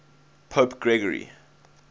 pope gregory